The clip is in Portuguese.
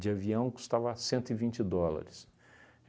de avião custava cento e vinte dólares.